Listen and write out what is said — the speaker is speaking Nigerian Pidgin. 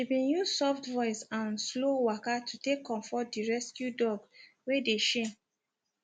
she been use soft voice and slow waka to take comfort the rescue dog wey de shame